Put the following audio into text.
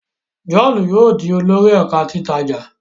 John yóò dì olórí ẹka titaja.